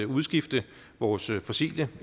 udskifte vores fossile